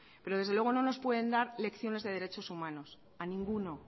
pero desde luego no nos pueden dar lección de derechos humanos a ninguno